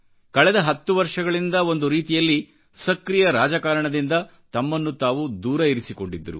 ಕಳೆದ 10 ವರ್ಷಗಳಿಂದಒಂದು ರೀತಿಯಲ್ಲಿ ಸಕ್ರೀಯ ರಾಜಕಾರಣದಿಂದ ತಮ್ಮನ್ನು ತಾವು ದೂರವಿರಿಸಿಕೊಂಡಿದ್ದರು